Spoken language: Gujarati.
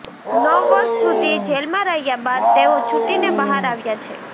નવ વર્ષ સુધી જેલમાં રહ્યા બાદ તેઓ છુટીને બહાર આવ્યા છે